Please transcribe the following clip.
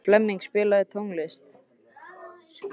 Flemming, spilaðu tónlist.